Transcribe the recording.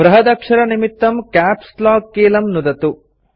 बृहदक्षरनिमित्तं caps lock कीलं नुदतु